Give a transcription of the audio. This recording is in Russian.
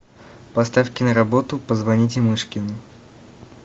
поставь киноработу позвоните мышкину